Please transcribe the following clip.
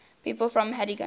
people from haddington